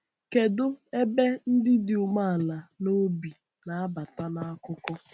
Kedu ebe ndị dị umeala n’obi na-abata n’akụkọ?